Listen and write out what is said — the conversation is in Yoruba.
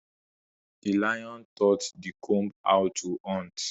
The lion taught the comb how to hunt